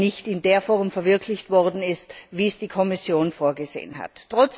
überhaupt nicht in der Form verwirklicht wurde, wie es die Kommission vorgesehen hatte.